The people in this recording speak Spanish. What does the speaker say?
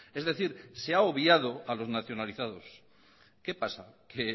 es decir se ha obviado a los nacionalizados qué pasa que